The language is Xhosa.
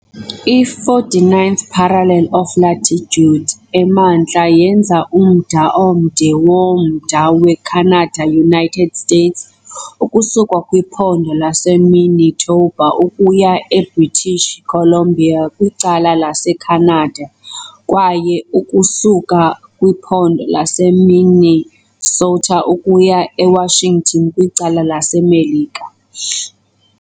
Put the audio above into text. I- 49th parallel of latitude emantla yenza umda omde womda weCanada-United States, ukusuka kwiphondo laseManitoba ukuya eBritish Columbia kwicala laseCanada kwaye ukusuka kwiphondo laseMinnesota ukuya eWashington kwicala laseMelika.